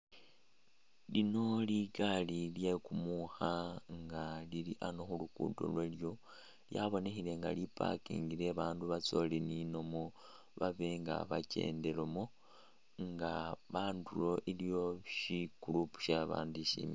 Lino ligali lye kumukha nga lili ano khulukudo lwalyo lyabonekhele nga li parking le babandu batsolininamo babe nga bakyendelomo nga andulo iliwo shikurupu she baandu shimile